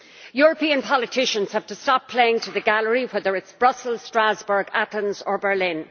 European politicians have to stop playing to the gallery, whether in Brussels, Strasbourg, Athens or Berlin.